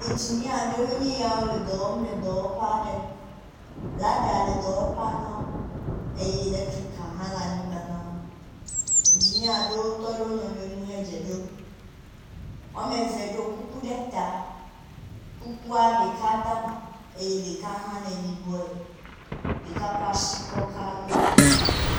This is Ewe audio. Ingenia aɖewoe nye yawo le dɔ wɔm le dɔwɔƒe aɖe. Lada le dɔwɔƒea na wo eye eletrika hã le anyigba na wo. Ingenia aɖewo tɔ ɖe wo nɔnɔewo ŋu he dze ɖom. Wɔme eve ɖo kuku ɖe ta. Kukua ɖeka dama eye ɖeka hã le yibɔe. Ɖeka kɔ asi kɔ ka yo to.